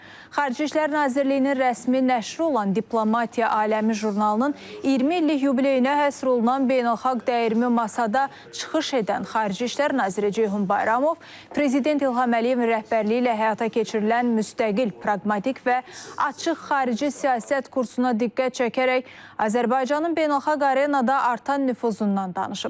Xarici İşlər Nazirliyinin rəsmi nəşri olan Diplomatiya Aləmi jurnalının 20 illik yubileyinə həsr olunan beynəlxalq dəyirmi masada çıxış edən Xarici İşlər Naziri Ceyhun Bayramov prezident İlham Əliyevin rəhbərliyi ilə həyata keçirilən müstəqil, praqmatik və açıq xarici siyasət kursuna diqqət çəkərək Azərbaycanın beynəlxalq arenada artan nüfuzundan danışıb.